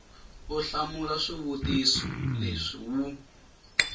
u hlamula swivutiso leswi wu